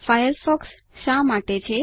Firefox શા માટે છે